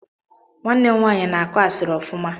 Nwanne m nwanyị na-akụ asịrị ọfụma